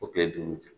O kile duuru